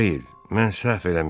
O deyil, mən səhv eləmişəm.